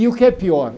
E o que é pior?